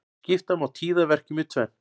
Skipta má tíðaverkjum í tvennt.